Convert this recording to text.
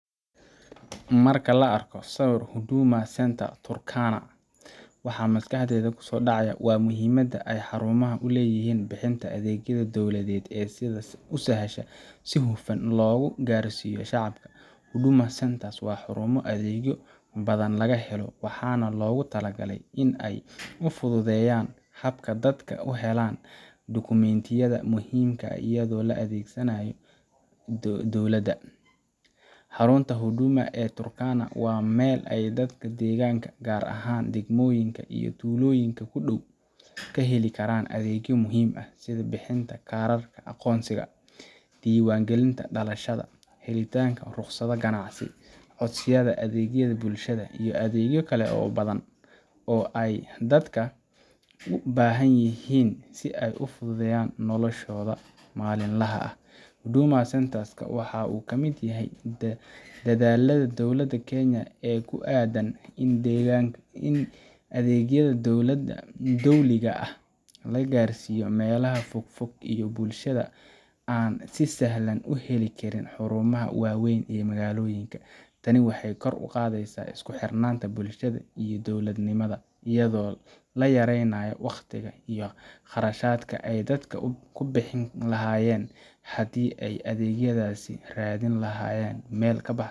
Marka la arko sawirka Huduma Center Turkana, waxaa maskaxda ku soo dhacaya muhiimadda ay xarumahan u leeyihiin bixinta adeegyada dowliga ah ee si sahlan oo hufan loogu gaarsiiyo shacabka. Huduma Center waa xarumo adeegyo badan laga helo, waxaana loogu talagalay in ay fududeeyaan habka dadka u helaan dukumentiyada muhiimka ah iyo adeegyada kale ee dawladda. Xarunta Huduma ee Turkana waa meel ay dadka deegaanka, gaar ahaan degmooyinka iyo tuulooyinka ku dhow, ka heli karaan adeegyo muhiim ah sida bixinta kaararka aqoonsiga, diiwaangelinta dhalashada, helitaanka rukhsadaha ganacsi, codsiyada adeegyada bulshada, iyo adeegyo kale oo badan oo ay dadka u baahanyihiin si ay u fududeeyaan noloshooda maalinlaha ah. Huduma Center ka wuxuu ka mid yahay dadaallada dowladda Kenya ee ku aadan in adeegyada dowliga ah la gaarsiiyo meelaha fogfog iyo bulshada aan si sahlan u heli karin xarumaha waaweyn ee magaalooyinka. Tani waxay kor u qaadaysaa isku xirnaanta bulshada iyo dowladnimada, iyadoo la yareynayo wakhtiga iyo kharashka ay dadka ku bixin lahaayeen haddii ay adeegyadaas raadin lahaayeen meel ka baxsan.